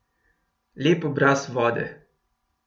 Lep obraz vode.